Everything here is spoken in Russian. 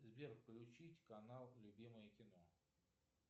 сбер включить канал любимое кино